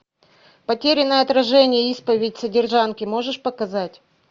потерянное отражение исповедь содержанки можешь показать